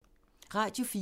Radio 4